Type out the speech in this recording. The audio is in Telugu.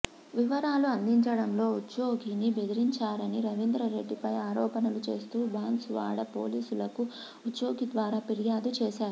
వివరాలు అందించడంలో ఉద్యోగిని బెదిరించారని రవిందర్రెడ్డిపై ఆరోపణలు చేస్తూ బాన్సువాడ పోలీసులకు ఉద్యోగి ద్వారా ఫిర్యాదు చేశారు